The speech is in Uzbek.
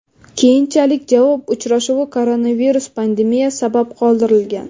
Keyinchalik javob uchrashuvi koronavirus pandemiya sabab qoldirilgan.